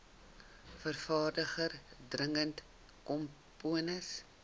vervaardiger dirigent komponis